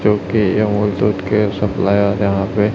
जो कि अमूल दूध के सप्लायर यहां पे--